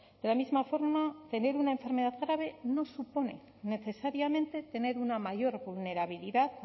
de la misma forma tener una enfermedad grave no supone necesariamente tener una mayor vulnerabilidad